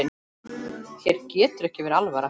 Þér getur ekki verið alvara.